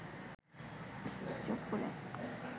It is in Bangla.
চুপ করে